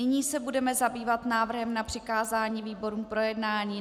Nyní se budeme zabývat návrhem na přikázání výborům k projednání.